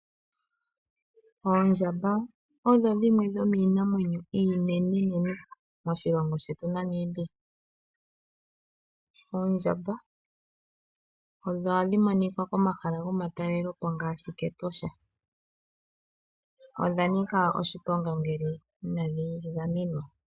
Oondjamba osho dhimwe sho miinamwenyo iinene moshilongo shetu Namibia . Oondjamba odho hadhi monika komahala gomatalelepo ngaashi Ketosha. Odhanika oshiponga ngele inadhi gamenwa.